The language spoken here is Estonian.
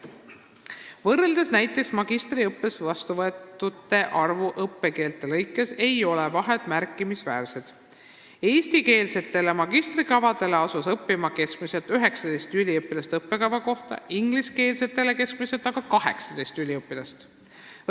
Kui võrrelda näiteks magistriõppesse vastuvõetute arvu õppekeelte lõikes, siis ei ole vahe märkimisväärne: eestikeelsetele magistrikavadele asus õppima keskmiselt 19 üliõpilast ja ingliskeelsetele keskmiselt 18 üliõpilast õppekava kohta.